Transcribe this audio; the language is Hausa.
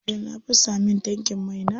Jiya na fasa min tankin mai na.